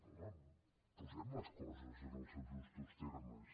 home posem les coses en els seus justos termes